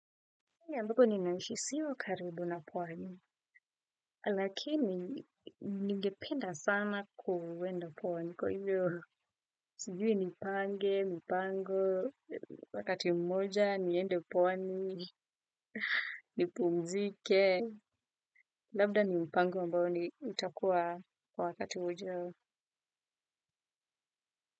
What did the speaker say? Ambako ninaishi sio karibu na pwani, lakini ningependa sana kuenda pwani kwa hivyo sijui nipange, mipango, wakati mmoja, niende pwani, nipumzike, labda ni mpango ambao ni utakuwa kwa wakati ujao.